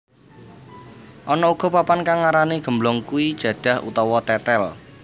Ana uga papan kang ngarani gemblong iku jadah utawa tetel